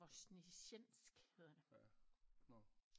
Voznesensk hedder det